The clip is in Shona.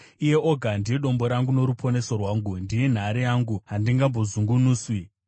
Iye oga ndiye dombo rangu noruponeso rwangu; ndiye nhare yangu, handingambozungunuswi.